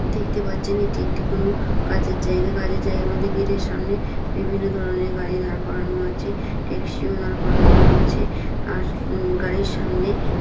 দেখতে পাচ্ছেন এটি একটি কোন কাজের জায়গা। কাজের জায়গায় মধ্যে গেটের সামনে বিভিন্ন ধরনের গাড়ি দাঁড় করানো আছে। ট্যাক্সিও দাঁড় করানো আছে। আর উম গাড়ির সামনে--